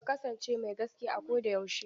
Ka kasance mai gaskiya a ko da yaushe!